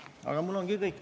See ongi minu poolt kõik.